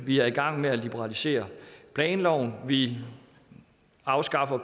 vi er i gang med at liberalisere planloven vi afskaffer